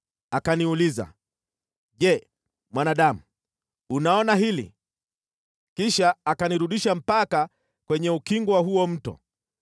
Akaniuliza, “Je, mwanadamu, unaona hili?” Kisha akanirudisha mpaka kwenye ukingo wa huo mto.